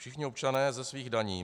Všichni občané ze svých daní.